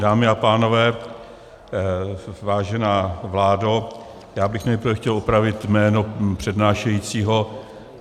Dámy a pánové, vážená vládo, já bych nejprve chtěl opravit jméno přednášejícího.